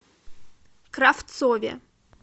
кравцове